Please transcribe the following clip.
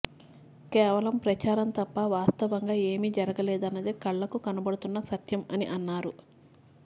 కేవలం ప్రచారం తప్ప వాస్తవంగా ఏమీ జరగలేదన్నది కళ్ళకు కనబడుతున్న సత్యం అని అన్నారు